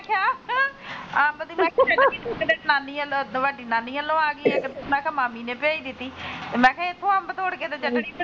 ਅੰਬ ਦੀ ਚਟਨੀ ਨਾਨੀ ਵੱਲੋਂ ਵੱਡੀ ਨਾਨੀ ਵੱਲੋਂ ਆਗੀ ਆ ਕੇ ਮੈਂ ਕਿਹਾ ਮਾਮੀ ਨੇ ਭੇਜ ਦਿੱਤੀ ਮੈ ਕਿਹਾ ਇਥੋ ਅੰਬ ਤੋੜ ਕੇ ਤੇ ਚਟਨੀ,